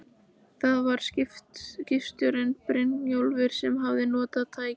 Baróninn bandaði hendi í átt að skrautrituðu skjölunum og myndunum